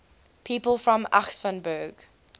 people from aschaffenburg